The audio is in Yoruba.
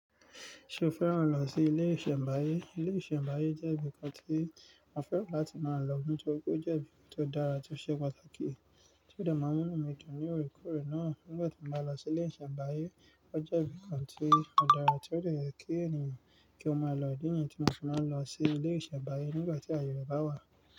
Ṣé o fẹ́ràn lọ sí ilé ìṣẹ̀mbáyé? Ilé ìṣẹ̀mbáyé jẹ́ ibìkan tí mo fẹ́ràn láti máa lọ nítorí pé ó jẹ́ ibi tó dára tó ṣe pàtàkì tí ó dààmú mú mi dùn ní òorekore náà. Nígbà tí mo bá lọ sí ilé ìṣẹ̀mbáyé ó jẹ́ ibìkan tí ó dára tí ó le yẹ kí ènìyàn kí ó máa lọ. Idi nìyẹn tí mo ti máa ń lọ sí ilé ìṣẹ̀mbáyé nígbà tí ààyè bá wà.